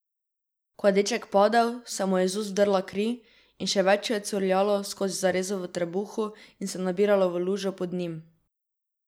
Ko je deček padel, se mu je iz ust vdrla kri in še več jo je curljalo skozi zarezo v trebuhu in se nabiralo v lužo pod njim.